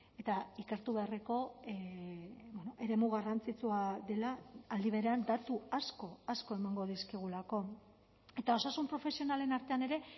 eta ikertu beharreko eremu garrantzitsua dela aldi berean datu asko asko emango dizkigulako eta osasun profesionalen artean ere